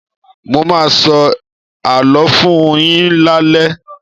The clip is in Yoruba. Mo ma sọ àló fún-un yín lale.